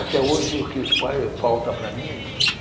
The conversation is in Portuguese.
Até hoje, o que faz falta para mim é isso.